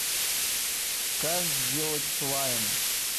как сделать слайм